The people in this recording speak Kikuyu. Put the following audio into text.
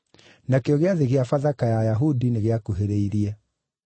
Nakĩo Gĩathĩ gĩa Bathaka ya Ayahudi nĩgĩakuhĩrĩirie.